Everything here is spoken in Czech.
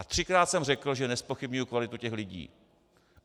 A třikrát jsem řekl, že nezpochybňuji kvalitu těch lidí.